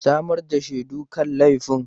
Samar da shaidu kan laifin!